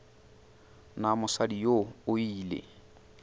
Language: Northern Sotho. na mosadi yoo o ile